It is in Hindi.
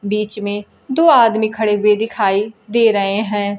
बीच में दो आदमी खड़े हुए दिखाई दे रहे हैं।